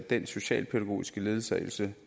den socialpædagogiske ledsagelse